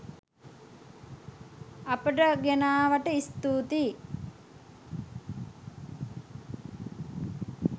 අපට ගෙනාවට ස්තුතියි.